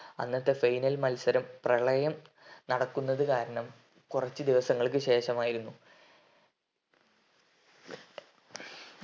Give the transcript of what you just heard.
അന്നത്തെ final മത്സരം പ്രളയം നടക്കുന്നത് കാരണം കൊറച്ചു ദിവസങ്ങൾക്കു ശേഷമായിരുന്നു